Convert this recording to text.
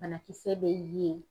Banakisɛ be ye